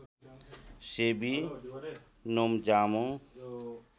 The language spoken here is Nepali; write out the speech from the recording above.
सेवी नोम्जामो